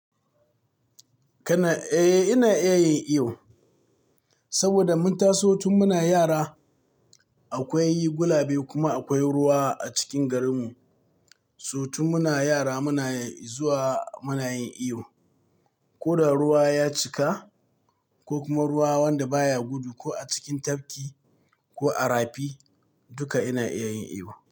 Kana iya yi, eh ina iya yi saboda mun taso tun muna yara. Akwai gulabe kuma akwai ruwa a cikin garinmu. So tun muna yara muna zuwa muna yin iyo. Ko da ruwa ya cika ko kuma ruwa wanda baya gudu ko a cikin tafki ko a rafi, duka ina iya yin iyo.